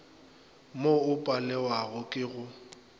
mo o palewago ke go